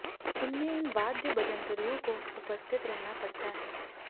इनमें इन वाद्य बजंतरियों को उपस्थित रहना पड़ता है